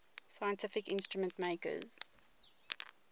scientific instrument makers